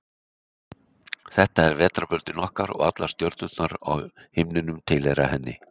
Þetta er Vetrarbrautin okkar og allar stjörnurnar á himninum tilheyra henni.